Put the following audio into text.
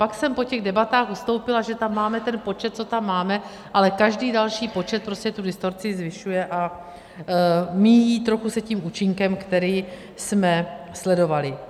Pak jsem po těch debatách ustoupila, že tam máme ten počet, co tam máme, ale každý další počet tu distorzi zvyšuje a míjí se trochu tím účinkem, který jsme sledovali.